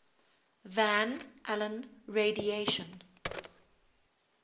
van allen radiation